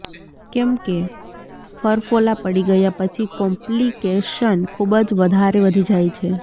કેમ કે ફરફોલા પડી ગયા પછી કોમ્પલીકેશન ખૂબ જ વધારે વધી જાય છે